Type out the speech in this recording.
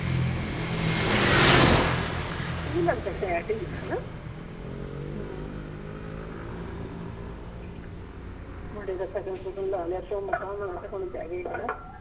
ਹਮ ਓਹ ਵੀ ਲੱਗਦਾ ਟੈਟ ਹੀ ਆ ਹਣਾ ਹਮ ਮੁੰਡੇ ਦਾ ਸ਼ਗਨ ਸ਼ੁਗਣ ਲਾ ਲਿਆ ਧੂਮ ਧਾਮ ਨਾਲ ਤੇ ਹੁਣ ਬਹਿ ਗਿਆ ਹਣਾ